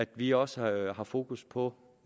vi også har fokus på